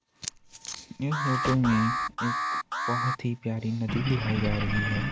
इस फोटो में एक बहुत ही प्यारी नदी दिखाई जा रही है।